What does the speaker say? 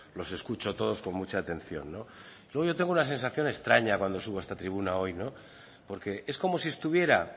los escucho todos con mucha atención no luego yo tengo una sensación extraña cuando subo a esta tribuna hoy es como si estuviera